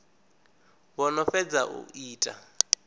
vho no fhedza u ita